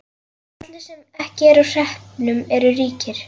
Allir sem ekki eru á hreppnum eru ríkir.